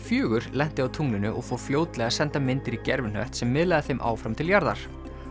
fjórum lenti á tunglinu og fór fljótlega að senda myndir í gervihnött sem miðlaði þeim áfram til jarðar